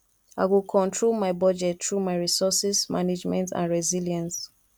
i go control my budget through my resources management and resilience